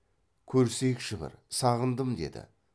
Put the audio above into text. көрісейікші бір сағындым деді